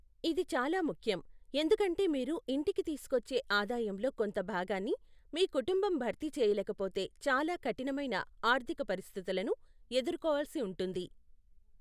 ఇది చాలా ముఖ్యం, ఎందుకంటే మీరు ఇంటికి తీసుకొచ్చే ఆదాయంలో కొంత భాగాన్ని మీ కుటుంబం భర్తీ చేయలేకపోతే చాలా కఠినమైన ఆర్థిక పరిస్థితులను ఎదుర్కోవాల్సి ఉంటుంది.